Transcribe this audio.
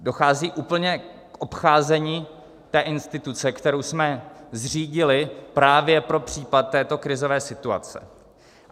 Dochází úplně k obcházení té instituce, kterou jsme zřídili právě pro případ této krizové situace.